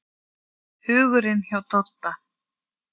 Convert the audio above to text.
Hugurinn hjá Dodda.